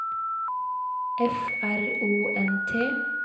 F R O N T